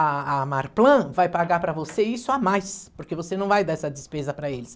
A a Marplan vai pagar para você isso a mais, porque você não vai dar essa despesa para eles.